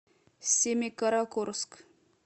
семикаракорск